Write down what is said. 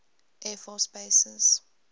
air force bases